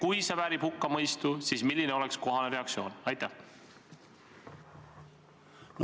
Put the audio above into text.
Kui see väärib hukkamõistu, siis milline oleks kohane reaktsioon?